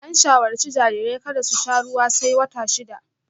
An shawarci jarirai kada su sha ruwa sai wata shida